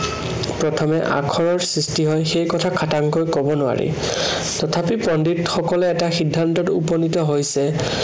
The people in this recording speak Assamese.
প্ৰথমে আখৰৰ সৃষ্টি হয়, সেই কথা খাটাংকৈ কব নোৱাৰি। তথাপি পণ্ডিতসকলে এটা সিদ্ধান্তত উপনীত হৈছে